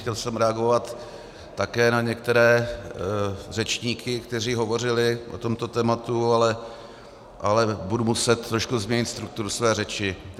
Chtěl jsem reagovat také na některé řečníky, kteří hovořili o tomto tématu, ale budu muset trošku změnit strukturu své řeči.